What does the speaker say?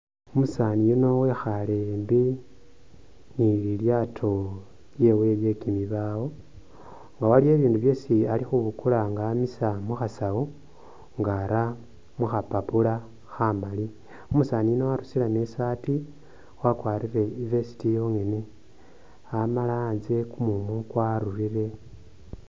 Umusani yuno wekhale embi ni lilyaato lyewe lye kimibaawo ,nga waliwo ibindu byesi Ali khubukula nga amisa mu khasawu nga ara mu khapapula khamali, umusani yuno warusiremo isaati wakwarire i'vest yonghene ,amala anzye kumumu kwarurire